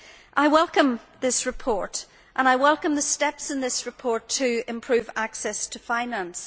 I welcome this report, and I welcome the steps set out in this report to improve access to finance.